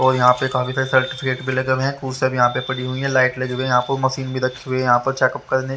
और यहां पे काफी सारे सर्टिफिकेट भी लगे हुए हैं को भी यहां पे पड़ी हुई है लाइट लगी हुई है यहां पर मशीन भी रखी हुई है यहां पर चेक अप करने --